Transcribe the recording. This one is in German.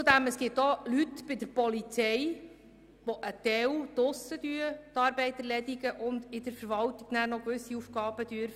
Zudem gibt es auch Leute bei der Polizei, die teilweise draussen arbeiten, aber auch gewisse Schreibtischarbeiten ausführen.